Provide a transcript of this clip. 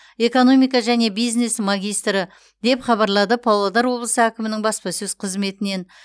экономика және бизнес магистрі деп хабарлады павлодар облысы әкімінің баспасөз қызметінен